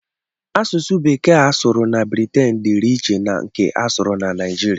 Asụsụ bekee a sụrụ na Briten dịịrị iche na nke asụrụ na Naijiria.